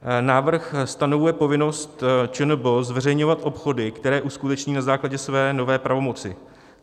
Návrh stanovuje povinnost ČNB zveřejňovat obchody, které uskuteční na základě své nové pravomoci.